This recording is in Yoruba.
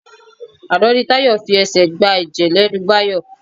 Àná ni Tayọ fi ẹ̀ṣẹ́ gba ẹ̀jẹ̀ lẹ́nu Báyọ̀.